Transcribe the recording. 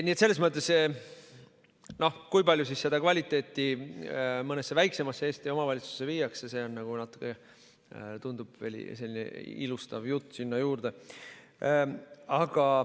Nii et selles mõttes see, kui palju seda kvaliteeti mõnesse väiksemasse Eesti omavalitsusse viiakse, on nagu, natuke tundub, selline ilustav jutt sinna juurde.